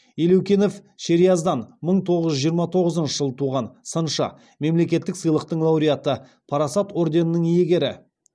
елеукенов шериаздан мың тоғыз жүз жиырма тоғызыншы жылы туған сыншы мемлекеттік сыйлықтың лауреаты парасат орденінің иегері